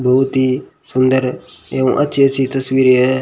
बहुत ही सुंदर है एवं अच्छी अच्छी तस्वीरें हैं।